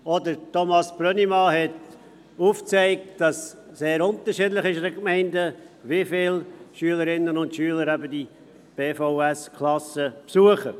Auch Thomas Brönnimann hat dargelegt, dass es in den Gemeinden sehr unterschiedlich ist, wie viele Schülerinnen und Schüler diese Klassen der berufsvorbereitenden Schuljahre (BVS) besuchen.